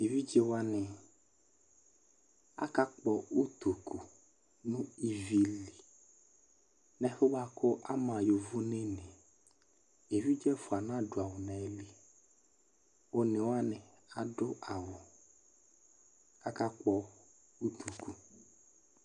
Eʋɩɖze waŋɩ aka kpɔ ʊtoƙʊ ŋʊ ɩʋɩ lɩ nɛfʊɛ ɓʊaƙʊ ama yovonɛ ŋɩ Eʋɩɖze ɛfʊa aŋa dʊ awʊ ŋaƴɩlɩ One waŋɩ adʊ awʊ, aka ƙpɔ ʊtoƙʊ